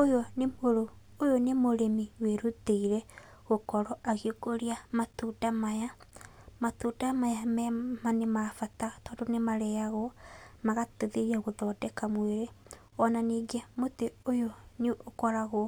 Ũyũ nĩ mũrĩmi wĩrutĩire gũkorwo agĩkũria matunda maya. Matunda maya nĩ mabata tondũ nĩ marĩyagwo, magateithia gũthondeka mwĩrĩ. Ona nĩngĩ mũtĩ ũyũ nĩ ũkoragwo